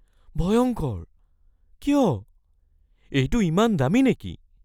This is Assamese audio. ভয়ংকৰ? কিয়? এইটো ইমান দামী নেকি?